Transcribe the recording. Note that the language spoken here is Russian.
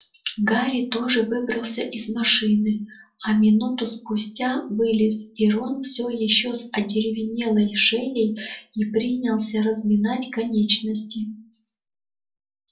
гарри тоже выбрался из машины а минуту спустя вылез и рон всё ещё с одеревенелой шеей и принялся разминать конечности